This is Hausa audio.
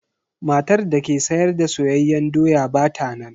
Matar da ke sayar da soyayyen doya ba ta nan.